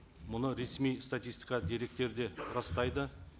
мұны ресми статистика деректері де растайды